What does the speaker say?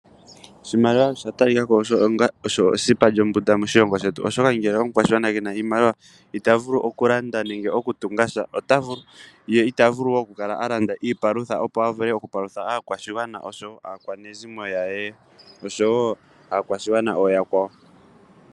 Oshimaliwa osha talika ko osho esipa lyombunda Moshilongo shetu, oshoka omukwashigwana ngele kena oshimaliwa, ita vulu oku landa nenge oku tunga sha, ye ita vulu oku kala alanda iipalutha opo apalutha aakwashigwana, aakwanezimo osho wo aakwashigwana oya kwawo.